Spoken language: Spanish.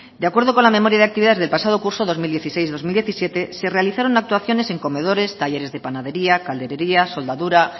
de acuerdo con la memoria de actividades del pasado curso dos mil dieciséis dos mil diecisiete se realizaron actuaciones en comedores talleres de panadería calderería soldadura